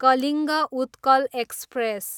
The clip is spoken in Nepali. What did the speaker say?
कलिङ्ग उत्कल एक्सप्रेस